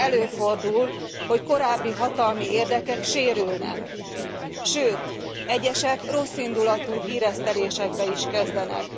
Eközben előfordul, hogy korábbi hatalmi érdekek sérülnek, sőt egyesek rosszindulatú híresztelésekbe is kezdenek.